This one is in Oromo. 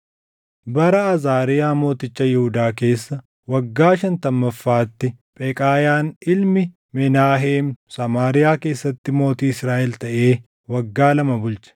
Bara Azaariyaa mooticha Yihuudaa keessa waggaa shantammaffaatti Pheqaayaan ilmi Menaaheem Samaariyaa keessatti mootii Israaʼel taʼee waggaa lama bulche.